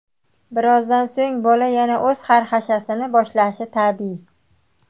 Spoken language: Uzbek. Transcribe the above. Birozdan so‘ng bola yana o‘z xarxashasini boshlashi tabiiy.